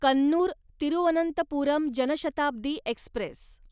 Kannur Thiruvananthapuram Janshatabdi Express